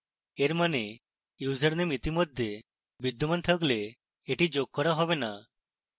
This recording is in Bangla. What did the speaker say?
এর means ইউসারনেম ইতিমধ্যে বিদ্যমান থাকলে এটি যোগ করা হবে না